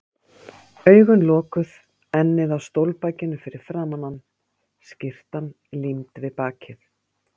Augun lokuð, ennið á stólbakinu fyrir framan hann, skyrtan límd við bakið.